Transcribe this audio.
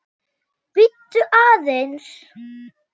Bíddu aðeins